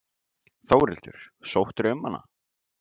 Þórhildur: Sóttirðu um hana?